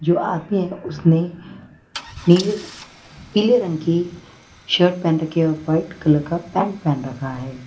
जो आदमी उसने नीले पीले रंग की शर्ट पहन रखे और वाइट कलर का पैंट पहन रखा है।